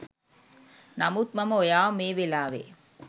නමුත් මම ඔයාව මේ වෙලාවේ